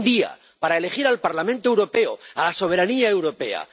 Un día para elegir al Parlamento Europeo, a la soberanía europea.